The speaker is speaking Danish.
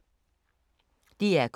DR K